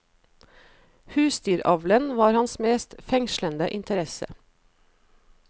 Husdyravlen var hans mest fengslende interesse.